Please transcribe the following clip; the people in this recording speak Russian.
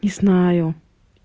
не знаю